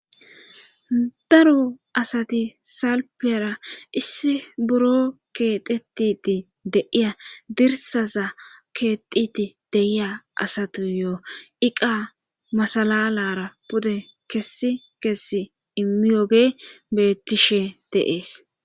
daro asati salpiyara issi buro keetetiti deiya dirsaza keetiti deiya asatuyo iqa masalalara pude kessi kessi imiyoge bettishe deees